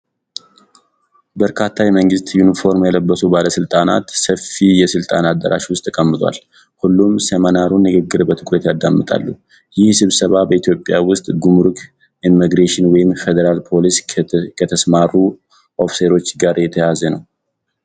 በርካታ የመንግሥት ዩኒፎርም የለበሱ ባለሥልጣናት ሰፊ የሥልጠና አዳራሽ ውስጥ ተቀምጠዋል። ሁሉም የ ሴሚናሩን ንግግር በትኩረት ያዳምጣሉ። ይህ ስብሰባ በኢትዮጵያ ውስጥ ጉምሩክ፣ ኢሚግሬሽን ወይም ፌዴራል ፖሊስ ከተሰማሩ ኦፊሰሮች ጋር የተያያዘ ነው?